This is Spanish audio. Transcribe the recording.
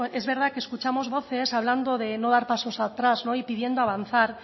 es verdad que escuchamos voces hablando de no dar pasos atrás y pidiendo avanzar